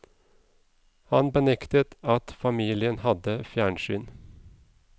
Han benektet at familien hadde fjernsyn.